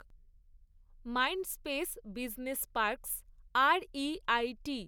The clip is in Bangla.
Mindspace Business Parks REIT